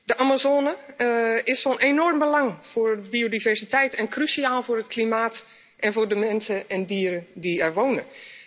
De Amazone is van enorm belang voor de biodiversiteit en cruciaal voor het klimaat en voor de mensen en dieren die er wonen.